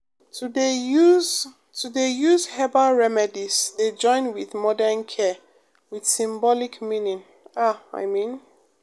to dey use to dey use herbal remedies dey join with modern care with symbolic meaning ah i mean